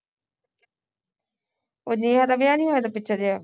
ਉਹ ਨੇਹਾ ਦਾ ਵਿਆਹ ਨਹੀਂ ਹੋਇਆ ਸੀ ਪਿੱਛੇ ਜਹੇ